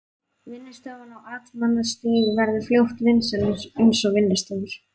Vinnustofan á Amtmannsstíg verður fljótt vinsæl eins og vinnustofur